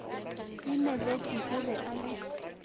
timeletše o be a le